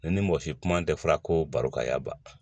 Ne ni mɔsi kuma tɛ fɔ ko barokɛ ya ba